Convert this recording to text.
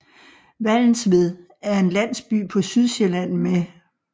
Vallensved er en landsby på Sydsjælland med